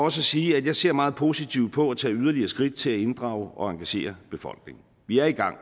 at sige at jeg ser meget positivt på at tage yderligere skridt til at inddrage og engagere befolkningen vi er i gang